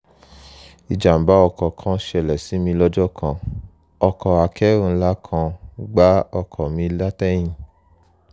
ìjàǹbá ọkọ̀ kan ṣẹlẹ̀ sí mi lọ́jọ́ kan ọkọ̀ akẹ́rù ńlá kan gbá ọkọ̀ mi látẹ̀yìn